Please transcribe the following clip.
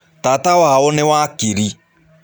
Tata wao nĩ wakiri.